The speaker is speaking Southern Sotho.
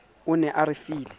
o ne a re file